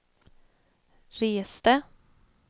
reste